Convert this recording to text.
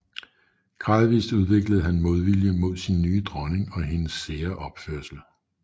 Gradvist udviklede han en modvilje mod sin nye dronning og hendes sære opførsel